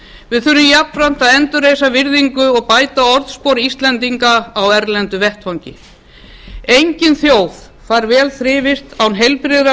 við þurfum jafnframt að endurreisa virðingu og bæta orðspor íslendinga á erlendum vettvangi engin þjóð fær vel þrifist án heilbrigðra